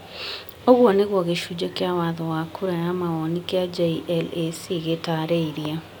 Ũguo nĩguo gĩcunjĩ kĩa watho wa kura ya mawoni kĩa JLAC gĩtaarĩirie,